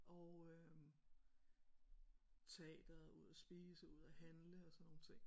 Oh øh teatret ud og spise ud og handle og sådan nogle ting